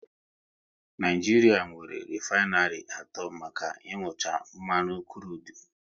Naijiria nwéré refainary atọ maka inucha mmanụ krudu